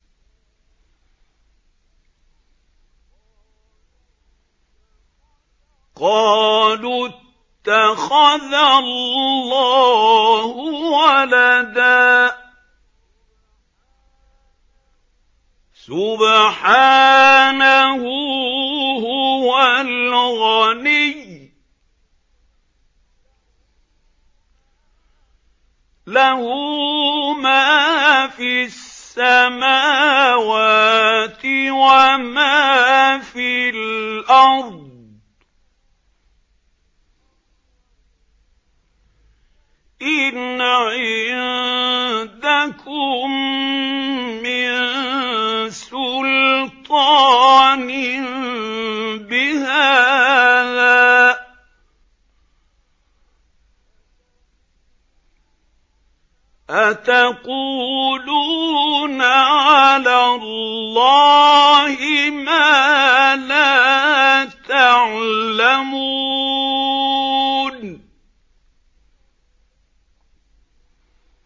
قَالُوا اتَّخَذَ اللَّهُ وَلَدًا ۗ سُبْحَانَهُ ۖ هُوَ الْغَنِيُّ ۖ لَهُ مَا فِي السَّمَاوَاتِ وَمَا فِي الْأَرْضِ ۚ إِنْ عِندَكُم مِّن سُلْطَانٍ بِهَٰذَا ۚ أَتَقُولُونَ عَلَى اللَّهِ مَا لَا تَعْلَمُونَ